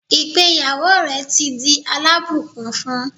Ìgbéyàwó rẹ̀ ti di alábùkún fún